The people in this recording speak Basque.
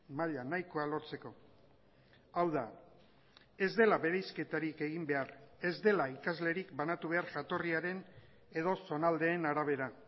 maila nahikoa lortzeko hau da ez dela bereizketarik egin behar ez dela ikaslerik banatu behar jatorriaren edo zonaldeen arabera